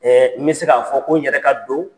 Ɛ n bɛ se k'a fɔ ko n yɛrɛ ka don